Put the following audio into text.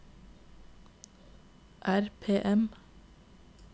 RPM